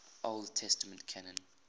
old testament canon